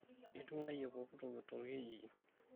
iting'uayie pooki toki to olkijiji